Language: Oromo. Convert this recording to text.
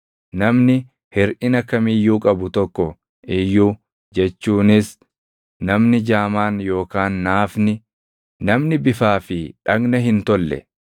Namni hirʼina kam iyyuu qabu tokko iyyuu jechuunis namni jaamaan yookaan naafni, namni bifaa fi dhagna hin tolle,